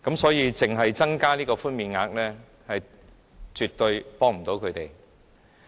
所以，只增加寬免額絕對幫不了他們。